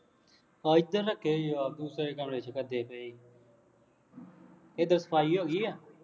ਆ ਇਧਰ ਰੱਖੇ ਆ ਯਾਰ ਦੂਸਰੇ ਕਮਰੇ ਚ ਗੱਦੇ ਵੀ ਇੱਧਰ ਸਫਾਈ ਹੋ ਗਈ ਆ